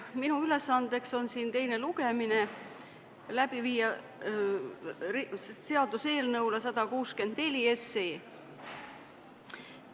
Minu ülesanne on siin läbi viia seaduseelnõu 164 teine lugemine.